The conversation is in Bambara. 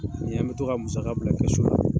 Ni an bɛ to ka musaka bila kɛsu la.